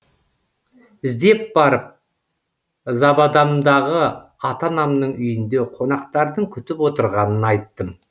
іздеп барып забадамдағы ата анамның үйінде қонақтардың күтіп отырғанын айттым